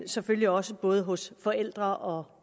selvfølgelig også både hos forældre og